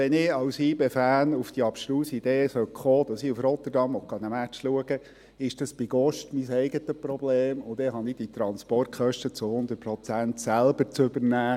Wenn ich als YB-Fan auf die abstruse Idee kommen sollte, in Rotterdam einen Match sehen zu wollen, ist das bei Gott mein Problem, und ich habe die Transportkosten zu 100 Prozent selber zu übernehmen.